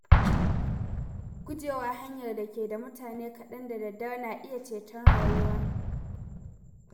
Gujewa hanyar da ke da mutane kaɗan da dare na iya ceton rayuwa.